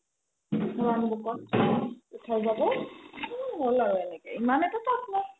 round book ত উথাই যাব হ'ল আৰু এনেকে ইমান এটা tough নাই